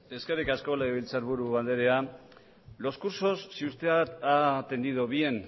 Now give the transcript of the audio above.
eskerrik asko legebiltzarburu andrea los cursos si usted ha atendido bien